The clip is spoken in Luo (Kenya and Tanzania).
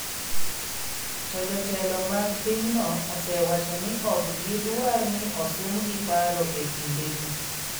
To jotelo mag pinyno osewacho ni ok gidwar ni osumgi paro e kindegi.